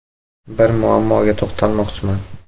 “Bir muammoga to‘xtalmoqchiman.